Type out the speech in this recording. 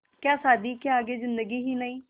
क्या शादी के आगे ज़िन्दगी ही नहीं